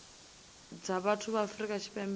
dza vhathu ya afrika tshipembe